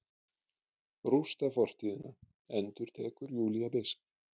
Rústa fortíðina, endurtekur Júlía beisk.